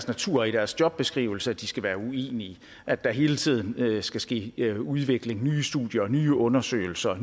natur og i deres jobbeskrivelse at de skal være uenige at der hele tiden skal ske udvikling foretages nye studier nye undersøgelser og